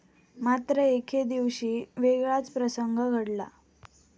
मात्र एकेदिवशी वेगळाच प्रसंग घडला.